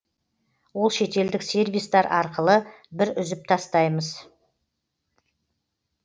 ол шетелдік сервистар арқылы біз үзіп тастаймыз